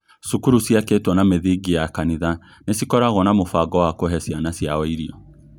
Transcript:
Cukuru ciakĩtwo na mĩthingi ya kanitha nĩ cikoragwo na mũbango wa kũhe ciana ciao irio